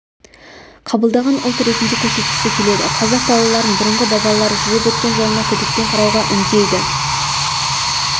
қабылдаған ұлт ретінде көрсеткісі келеді қазақ балаларын бұрынғы бабалары жүріп өткен жолына күдікпен қарауға үндейді